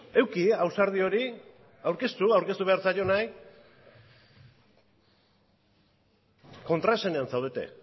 eduki ausardi hori aurkeztu aurkeztu behar zaionari kontraesanean zaudete